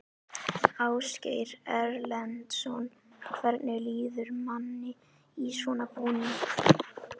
Ásgeir Erlendsson: Hvernig líður manni í svona búning?